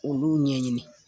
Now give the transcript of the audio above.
Olu ɲɛɲini